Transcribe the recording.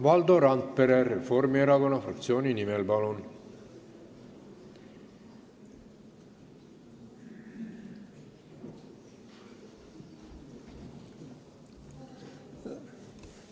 Valdo Randpere Reformierakonna fraktsiooni nimel, palun!